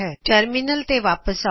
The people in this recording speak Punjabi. ਟਰਮਿਨਲ ਤੇ ਵਾਪਿਸ ਆਓ